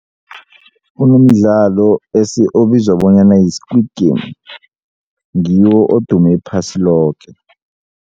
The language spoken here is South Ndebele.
Kunomdlalo obizwa bonyana yi-squid game ngiwo odume iphasi loke.